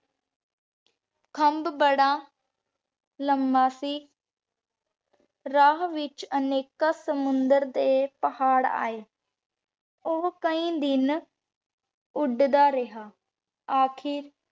ਖੰਭ ਬਾਰਾ ਲੰਬਾ ਸੀ ਰਾਹ ਵਿਚ ਅਨੇਕਾਂ ਸਮੁੰਦਰ ਤੇ ਪਹਰ ਆਯ ਊ ਕਈ ਦਿਨ ਉਡਦਾ ਰਿਹਾ ਅਖੀਰ